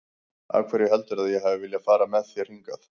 Af hverju heldurðu að ég hafi viljað fara með þér hingað?